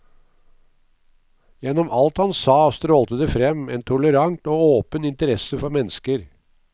Gjennom alt han sa strålte det frem en tolerant og åpen interesse for mennesker.